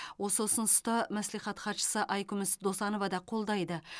осы ұсынысты мәслихат хатшысы айкүміс досанова да қолдайды